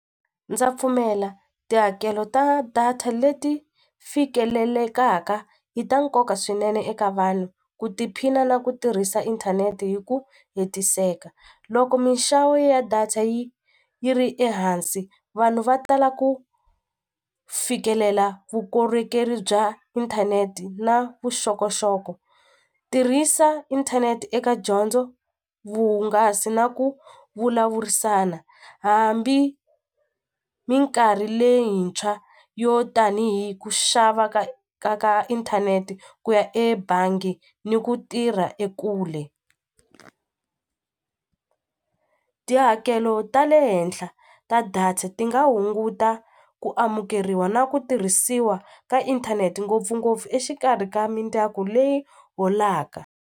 Ndza pfumela tihakelo ta data leti fikelelelaka i ta nkoka swinene eka vanhu ku tiphina na ku tirhisa inthanete hi ku hetiseka loko minxavo ya data yi yi ri ehansi vanhu va tala ku fikelela vukorhokeri bya inthanete na vuxokoxoko tirhisa inthanete eka dyondzo vuhungasi na ku vulavurisana hambi minkarhi leyintshwa yo tanihi ku xava ka ka ka inthanete ku ya ebangi ni ku tirha ekule tihakelo ta le henhla ta data ti nga hunguta ku amukeriwa na ku tirhisiwa ka inthanete ngopfungopfu exikarhi ka mindyangu leyi holaka.